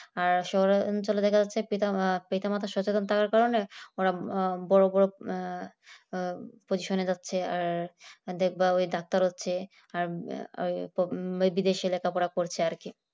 শহরের অঞ্চলে দেখা যাচ্ছে পিতা-মাতা পিতা মাতার সাথে থাকার কারণে ওরা বড় বড় পজিশনে যাচ্ছে আর দেখব ডাক্তার হচ্ছে আর ওই বিদেশে লেখাপড়া করছে আর কি